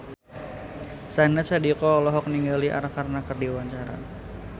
Syahnaz Sadiqah olohok ningali Arkarna keur diwawancara